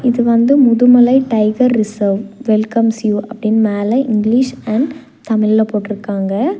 இது வந்து Mudumalai tiger reserve welcomes you அப்படினு மேல இங்கிலீஷ் அண்ட் தமிழ்ல போட்ருக்காங்க.